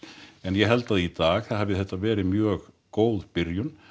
en ég held að í dag hafi þetta verið mjög góð byrjun